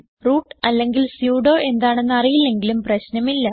root അല്ലെങ്കിൽ sudo എന്താണെന്ന് അറിയില്ലെങ്കിലും പ്രശ്നമില്ല